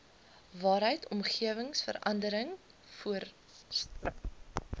waaruit omgewingsverandering voortspruit